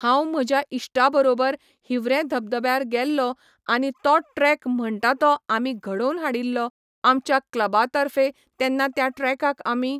हांव म्हज्या इश्टा बरोबर हिवरेम धबधब्यार गेल्लों आनी तो ट्रेक म्हणटा तो आमी घडवोन हाडिल्लो आमच्या क्लबा तर्फे तेन्ना त्या ट्रेकाक आमी